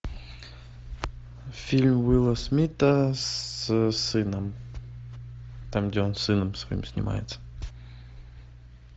фильм уилла смита с сыном там где он с сыном своим снимается